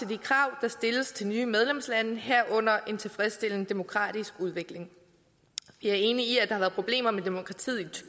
de krav der stilles til nye medlemslande herunder en tilfredsstillende demokratisk udvikling vi er enige i at der har været problemer med demokratiet